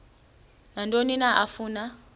nantoni na afuna